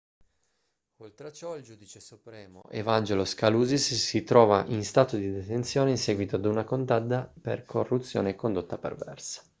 oltre a ciò il giudice supremo evangelos kalousis si trova in stato di detenzione in seguito ad una condanna per corruzione e condotta perversa